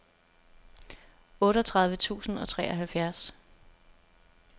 otteogtredive tusind og treoghalvfjerds